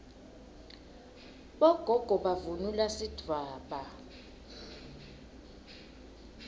bogogo bavunula sidvwaba